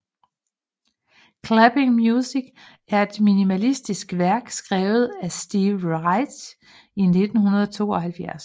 Clapping Music er et minimalistisk værk skrevet af Steve Reich i 1972